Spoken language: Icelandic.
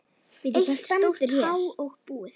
Eitt stórt há og búið.